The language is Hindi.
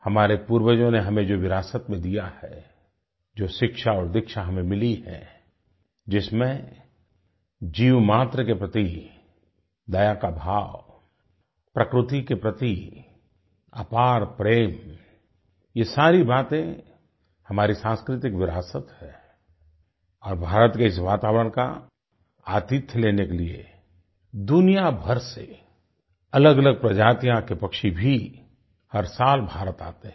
हमारे पूर्वजों ने हमें जो विरासत में दिया है जो शिक्षा और दीक्षा हमें मिली है जिसमें जीवमात्र के प्रति दया का भाव प्रकृति के प्रति अपार प्रेम ये सारी बातें हमारी सांस्कृतिक विरासत हैं और भारत के इस वातावरण का आतिथ्य लेने के लिए दुनिया भर से अलगअलग प्रजातियों के पक्षी भी हर साल भारत आते हैं